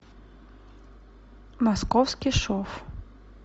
московский шов